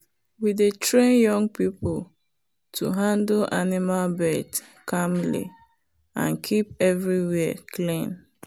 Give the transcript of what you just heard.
we dey train young people to handle animal birth calmly and keep everywhere clean.